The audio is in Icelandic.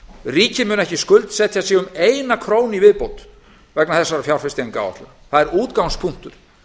ríkið mun ekki skuldsetja sig um eina krónu í viðbót vegna þessarar fjárfestingaráætlunar það er útgangspunktur